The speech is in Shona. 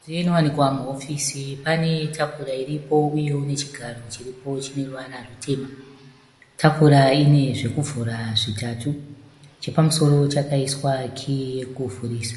Mudziyo inowanikwa muhofisi pane tafura iripo uyewo nechigaro chiripo chine ruvara rutema . Tafura ine zvekuvhura zvitatu. Chepamusoro chakaiswa kiyi yekuvhurisa .